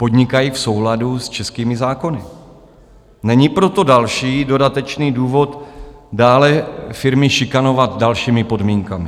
Podnikají v souladu s českými zákony, není proto další dodatečný důvod dále firmy šikanovat dalšími podmínkami.